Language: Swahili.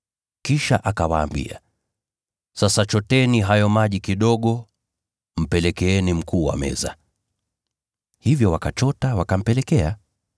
Kisha akawaambia, “Sasa choteni hayo maji kidogo, mpelekeeni mkuu wa meza.” Hivyo wakachota, wakampelekea.